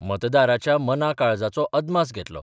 मतदाराच्या मनाकाळजाचो अदमास घेतलो.